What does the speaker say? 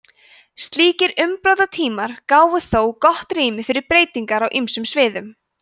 slíkir umbrotatímar gáfu þó gott rými fyrir breytingar á ýmsum sviðum